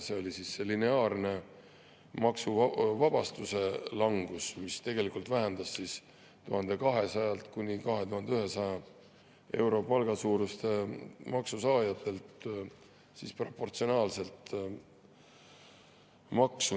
See oli see lineaarne maksuvabastuse langus, mis tegelikult vähendas 1200–2100 euro palga saajatel proportsionaalselt maksu.